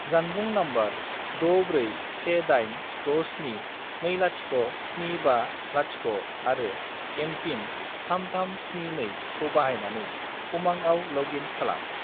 जानबुं नम्बर 64186720750 आरो एम.पिन. 3372 खौ बाहायनानै उमांआव लग इन खालाम।